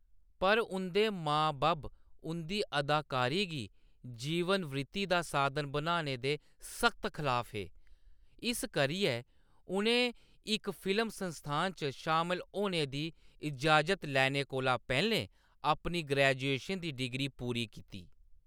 पर, उंʼदे मां-बब्ब उंʼदी अदाकारी गी जीवन वृत्ति दा साधन बनाने दे सख्त खलाफ हे, इस करियै, उʼनें इक फिल्म संस्थान च शामल होने दी इजाज़त लैने कोला पैह्‌‌‌लें अपनी ग्रेजुएशन दी डिग्री पूरी कीती।